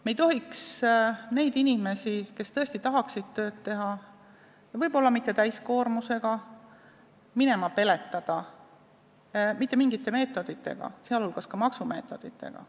Me ei tohiks neid inimesi, kes tõesti tahaksid tööd teha, võib-olla mitte täiskoormusega, minema peletada mitte mingite meetoditega, sh maksumeetoditega.